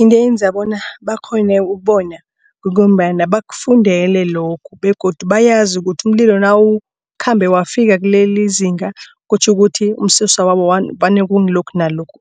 Into eyenza bona bakghone ukubona kungombana bakufundele lokho begodu bayazi ukuthi umlilo nawukhambe wafika kulelizinga. Kutjho ukuthi umsusa wabo vane kungilokhu nalokhu